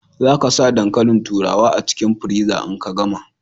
Za ka sa dankalin turawar a cikin friza in ka gama.